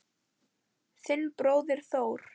Þinn bróðir Þór.